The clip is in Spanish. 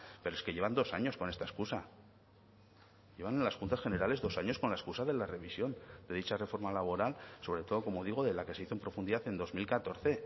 pero es que llevan dos años con esta excusa llevan en las juntas generales dos años con la excusa de la revisión de dicha reforma laboral sobre todo como digo de la que se hizo en profundidad en dos mil catorce